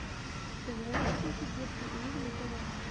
ты можешь включить детский мир на тв